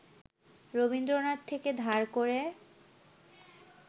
রবীন্দ্রনাথ থেকে ধার করে